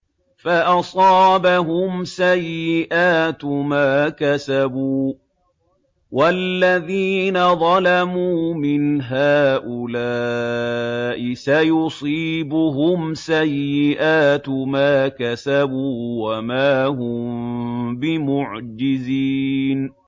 فَأَصَابَهُمْ سَيِّئَاتُ مَا كَسَبُوا ۚ وَالَّذِينَ ظَلَمُوا مِنْ هَٰؤُلَاءِ سَيُصِيبُهُمْ سَيِّئَاتُ مَا كَسَبُوا وَمَا هُم بِمُعْجِزِينَ